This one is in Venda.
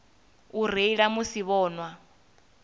u reila musi vho nwa